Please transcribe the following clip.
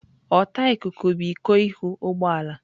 Ọta ikuku bụ iko ihu ụgbọ ala.